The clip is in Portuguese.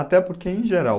Até porque, em geral...